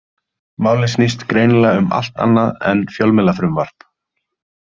Málið snýst greinilega um allt annað en fjölmiðlafrumvarp.